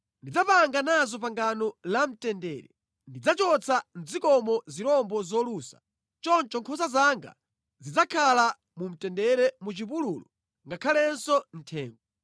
“ ‘Ndidzapangana nazo pangano la mtendere. Ndidzachotsa mʼdzikomo zirombo zolusa. Choncho nkhosa zanga zidzakhala mu mtendere mu chipululu ngakhalenso mʼthengo.